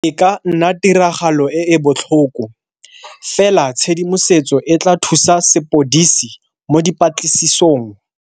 E ka nna tiragalo e e botlhoko, fela tshedimosetso e tla thusa sepodisi mo dipatlisisong.